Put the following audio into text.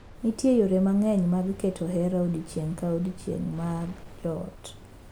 Nitie yore mang’eny mag keto hera odiechieng’ ka odiechieng’ mar joot.